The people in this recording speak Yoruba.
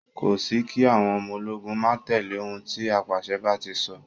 Kò sí kí àwọn ọmọ ológun máa tẹ̀lẹ́ òun tí apàṣẹ bá ti sọ.